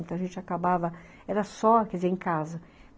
Então, a gente acabava... Era só, quer dizer, em casa.